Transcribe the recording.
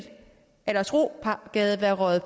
aldersrogade være røget